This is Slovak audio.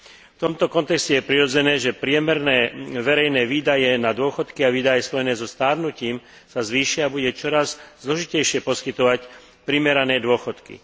V tomto kontexte je prirodzené, že priemerné verejné výdavky na dôchodky a výdavky spojené so starnutím sa zvýšia a bude čoraz zložitejšie poskytovať primerané dôchodky.